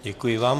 Děkuji vám.